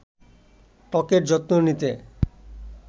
ত্বকের যত্ন নিতে